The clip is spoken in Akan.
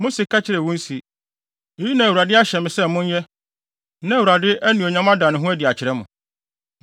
Mose ka kyerɛɛ wɔn se, “Eyi na Awurade ahyɛ mo sɛ monnyɛ na Awurade anuonyam ada ne ho adi akyerɛ mo.”